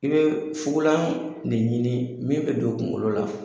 I bɛ fugulan de ɲini min bɛ don kungolo la.